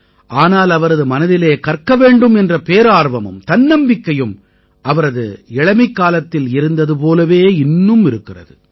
ஆனால் அவரது மனதிலே கற்க வேண்டும் என்ற பேரார்வமும் தன்னம்பிக்கையும் அவரது இளமைக்காலத்தில் இருந்தது போலவே இன்னும் இருக்கிறது